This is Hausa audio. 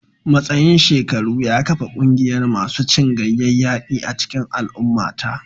Matsayin shekaru ya kafa ƙungiyar masu cin ganyayyaki a cikin al'ummata